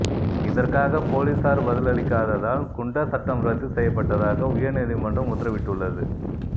இதற்காக போலீசார் பதிலளிக்ககாததால் குண்டர் சட்டம் ரத்து செய்யப்பட்டதாக உயர்நீதிமன்றம் உத்தரவிட்டுள்ளது